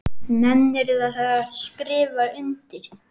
Nennirðu að skrifa undir?